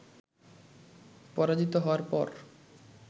পরাজিত হওয়ার পর